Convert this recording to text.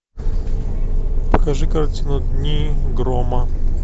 покажи картину дни грома